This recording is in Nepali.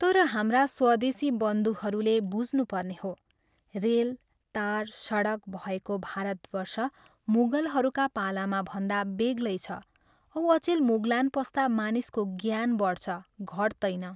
तर हाम्रा स्वदेशी बन्धुहरूले बुझ्नु पर्ने हो, रेल, तार, सडक भएको भारतवर्ष मुगलहरूका पालामा भन्दा बेग्लै छ औ अचेल मुगलान पस्दा मानिसको ज्ञान बढ्छ, घट्तैन।